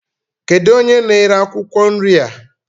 Kedụ onye n'ere akwụkwọ nri a?